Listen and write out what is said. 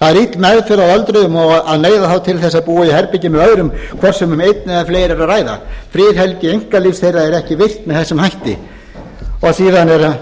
það er ill meðferð á öldruðum að neyða þá til þess að búa í herbergi með öðrum hvort sem um einn eða fleiri er að ræða friðhelgi einkalífs þeirra er ekki virt með þessum hætti áfram er